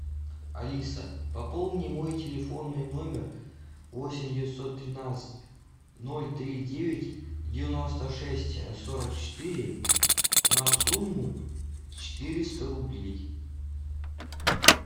алиса пополни мой телефонный номер восемь девятьсот тринадцать ноль три девять девяносто шесть сорок четыре на сумму четыреста рублей